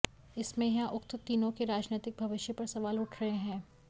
इसमें यहां उक्त तीनों के राजनैतिक भविष्य पर सवाल उठ रहे हैं